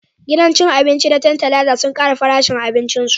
Gidan cin abinci na Tantalizer sun kara farashin abincin su